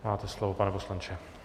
Máte slovo, pane poslanče.